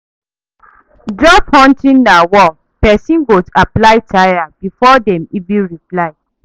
Job hunting na war, person go apply tire before dem even reply.